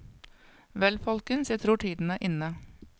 Vel folkens, jeg tror tiden er inne.